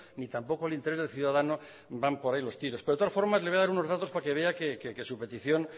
ni tampoco le interesa al ciudadano que van por ahí los tiros pero de todas formas le voy a dar unos datos para que vea que su petición